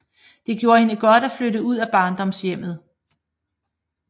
Det gjorde hende godt at flytte ud af barndomshjemmet